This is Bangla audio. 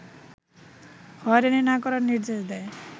হয়রানি না করার নির্দেশ দেয়